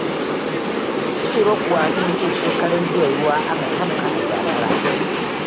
Su Iro kuwa sun ce shekaranjiya ruwa aka tafka a Jakara.